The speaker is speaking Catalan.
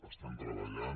estem treballant